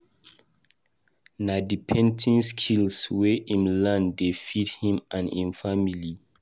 Na di painting skill wey im learn dey feed him and im family.